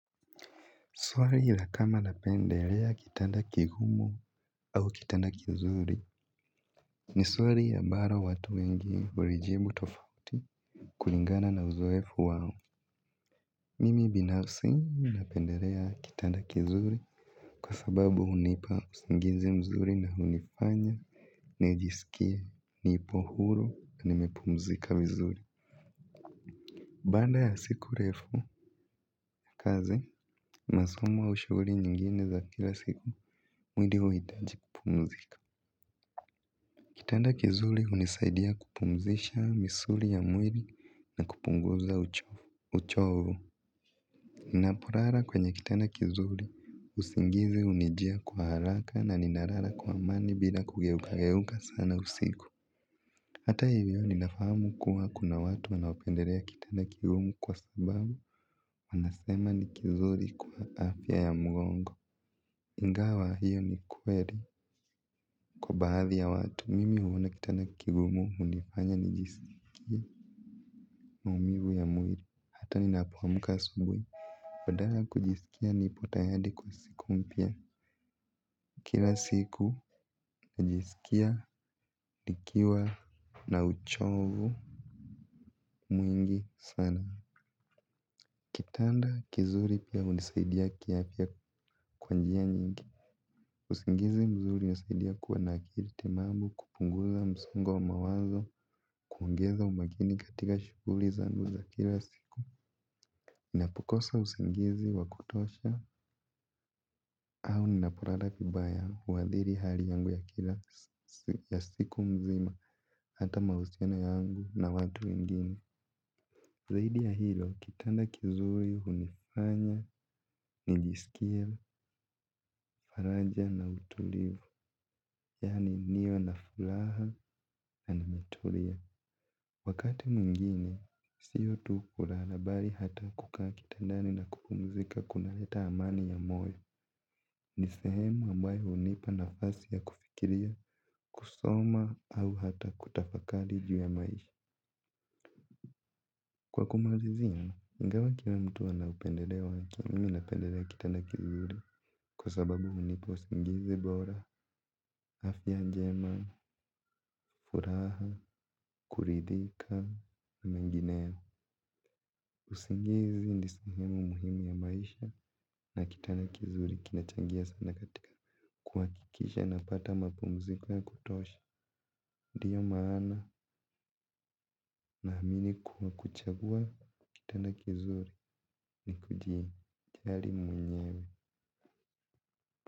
Swali la kama napendelea kitanda kigumu au kitanda kizuri. Ni suali ambalo watu wengi hulijibu tofauti kulingana na uzoefu wao. Mimi binafsi napendelea kitanda kizuri kwa sababu hunipa usingizi mzuri na unifanya nijiskie nipo huru na nimepumzika vizuri. Baanda ya siku refu, kazi, masomo au shuguli nyingine za kila siku, mwili huitaji kupumuzika. Kitanda kizuli hunisaidia kupumzisha misuli ya mwili na kupunguza uchovu. Ninaporara kwenye kitanda kizuri usingizi unijia kwa haraka na ninarara kwa amani bila kugeukageuka sana usiku. Hata hivyo ninafahamu kuwa kuna watu wanaopenderea kitanda kigumu kwa sababu wanasema ni kizuri kwa afya ya mgongo. Ingawa hiyo ni kweri kwa baadhi ya watu mimi huona kitanda kigumu hunifanya nijisikie maumivu ya mwiri hata ninapo amka asubui badala ya kujisikia nipo tayari kwa siku mpya. Kila siku najisikia nikiwa na uchovu mwingi sana. Tanda kizuri pia hunisaidia kiafya kwa njia nyingi. Usingizi mzuri hunisaidia kuwa na akiri timamu kupunguza msongo wa mawazo kuongeza umakini katika shuguli zangu za kila siku. Ninapokosa usingizi wa kutosha au ninaporara vibaya huadhiri hali yangu ya kila ya siku mzima hata mahusiano yangu na watu wengine. Zaidi ya hilo kitanda kizuri hunifanya, njisikia, faraja na utulivu, yani niwe na fulaha na nimetulia. Wakati mwingine, sio tu kurara bali hata kukaa kitandani na kupumuzika kunaleta amani ya moyo. Ni sehemu ambayo hunipa nafasi ya kufikiria, kusoma au hata kutafakali juu ya maisha. Kwa kumalizia, ingawa kila mtu ana upendereo wake mimi napenderea kitanda kizuri kwa sababu hunipa usingizi bora, afya njema, furaha, kuridhika, mengineo. Usingizi ni sehemu muhimu ya maisha na kitanda kizuri kinachangia sana katika kuhakikisha napata mapumziko ya kutosha. Ndiyo maana nahamini kuwa kuchagua, kitanda kizuri ni kujijali mwenyewe.